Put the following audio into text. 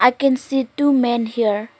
we can see two men here.